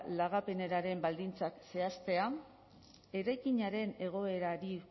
lagapenaren baldintzak zehaztea eraikinaren egoerari